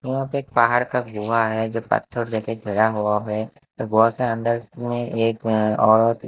यहां पे एक पहाड़ का गुहा है जो पत्थर से घेरा हुआ है और बहोत सारा अंदर में एक और--